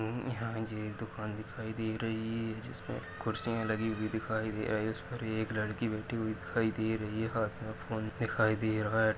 अहम यह जी एक दुकान दिखाई दे रही है जिसपे कुर्सिया लगी हुई दिखाई दे रही है इस पर एक लड़की बैठी हुई दिखाई दे रही है हाथ मे फोन दिखाई दे रहा है।